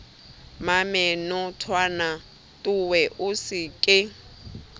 mmamenotwana towe o se ke